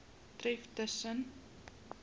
tref tus sen